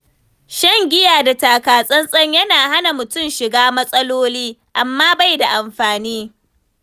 Shan giya da taka-tsan-tsan yana hana mutum shiga matsaloli, amma bai da amfani.